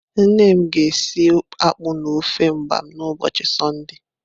Nne m ga esi ofe akpu na mgbam n'ubochi Sunday.